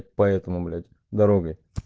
поэтому блять дорогой